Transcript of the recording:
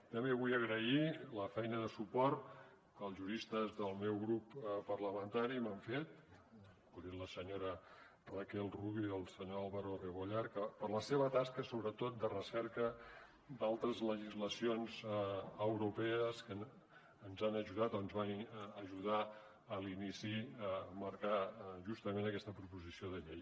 també vull agrair la feina de suport que els juristes del meu grup parlamentari m’han fet vull dir la senyora raquel rubio i el senyor álvaro rebollar que per la seva tasca sobretot de recerca d’altres legislacions europees ens han ajudat ens van ajudar a l’inici a marcar justament aquesta proposició de llei